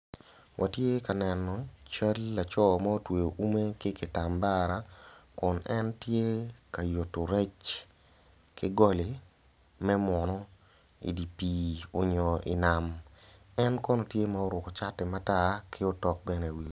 Watye ka neno cal laco ma otweyo ume ki kitambara kun en tye ka yutu rec ki goli me munu idi pii onyo idi nam en kono tye ma oruku cati matar ki tok bene i wiye